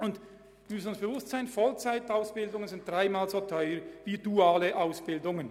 Wir müssen uns bewusst sein, dass Vollzeitausbildungen dreimal so teuer sind wie duale Ausbildungen.